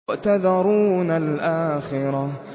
وَتَذَرُونَ الْآخِرَةَ